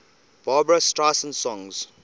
barbra streisand songs